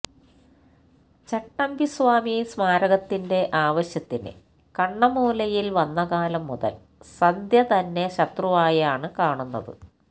ചട്ടമ്പിസ്വാമി സ്മാരകത്തിന്റെ ആവശ്യത്തിന് കണ്ണമ്മൂലയിൽ വന്നകാലം മുതൽ സന്ധ്യ തന്നെ ശത്രുവായാണ് കാണുന്നത്